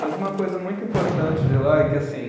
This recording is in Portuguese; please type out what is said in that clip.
Mas uma coisa muito importante de lá é que, assim